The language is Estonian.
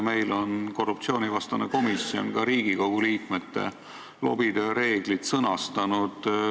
Meie korruptsioonivastane komisjon on ka Riigikogu liikmete lobitöö reeglid sõnastanud.